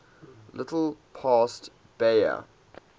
little past bahia